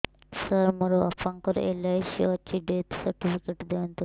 ସାର ମୋର ବାପା ଙ୍କର ଏଲ.ଆଇ.ସି ଅଛି ଡେଥ ସର୍ଟିଫିକେଟ ଦିଅନ୍ତୁ